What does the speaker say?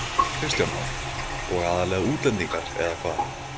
Kristján Már: Og aðallega útlendingar eða hvað?